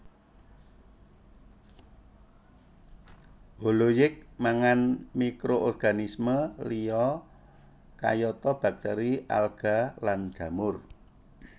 Holozoik mangan mikroorganisme liya kayata baktèri alga lan jamur